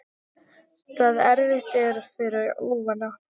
Það erfitt er fyrir óvana.